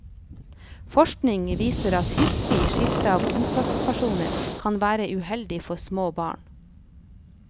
Forskning viser at hyppig skifte av omsorgspersoner kan være uheldig for små barn.